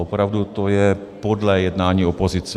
Opravdu, to je podlé jednání opozice.